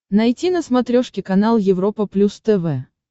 найти на смотрешке канал европа плюс тв